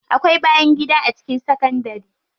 Akwai bayangida a cikin sakandari.